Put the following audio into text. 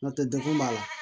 N'o tɛ degun b'a la